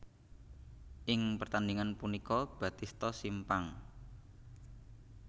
Ing pertandingan punika Batista simpang